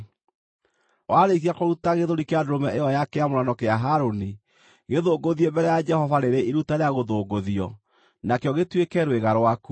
Warĩkia kũruta gĩthũri kĩa ndũrũme ĩyo ya kĩamũrano kĩa Harũni, gĩthũngũthie mbere ya Jehova rĩrĩ iruta rĩa gũthũngũthio, nakĩo gĩtuĩke rwĩga rwaku.